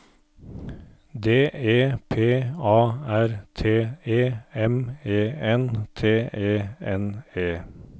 D E P A R T E M E N T E N E